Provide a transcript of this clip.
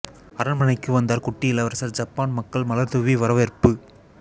அரண்மனைக்கு வந்தார் குட்டி இளவரசர் ஜப்பான் மக்கள் மலர் தூவி வரவேற்பு